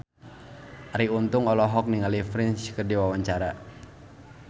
Arie Untung olohok ningali Prince keur diwawancara